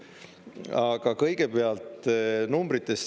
Aga kõigepealt numbritest.